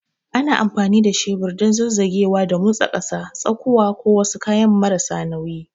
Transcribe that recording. Ana amfani da shebur don zazzagewa da motsi ƙasa, tsakuwa, ko wasu kayan marasa nauyi.